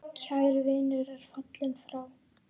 Kær vinur er fallinn frá.